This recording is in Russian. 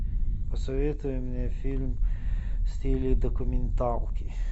посоветуй мне фильм в стиле документалки